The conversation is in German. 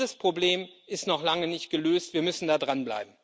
Dieses Problem ist noch lange nicht gelöst, wir müssen da dranbleiben.